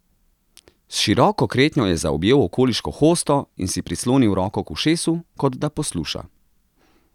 S široko kretnjo je zaobjel okoliško hosto in si prislonil roko k ušesu, kot da posluša.